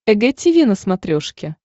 эг тиви на смотрешке